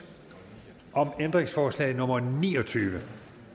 om ændringsforslag nummer ni og tyve